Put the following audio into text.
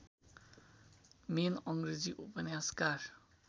main अङ्ग्रेजी उपन्यासकार